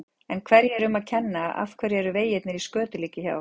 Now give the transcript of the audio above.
En hverju er um að kenna, af hverju eru vegirnir í skötulíki hjá okkur?